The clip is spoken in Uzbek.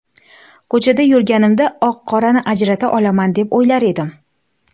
Ko‘chada yurganimda oq-qorani ajrata olaman deb o‘ylar edim.